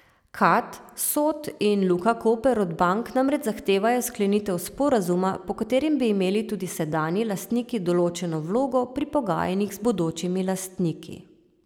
Kad, Sod in Luka Koper od bank namreč zahtevajo sklenitev sporazuma, po katerem bi imeli tudi sedanji lastniki določeno vlogo pri pogajanjih z bodočimi lastniki.